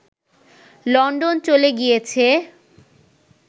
London চলে গিয়েছে